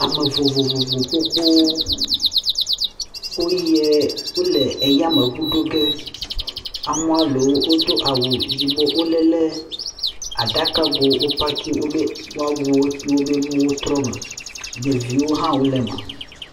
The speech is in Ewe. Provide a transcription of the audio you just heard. ame vovovovo gbogbó woyiɛ e ɛyameʋu ɖoge amɔa lewo wodó awu zibo wolele aɖakago wó paki wobe wɔawuwo do wobe nuwo trɔ me ɖevio hã wó leme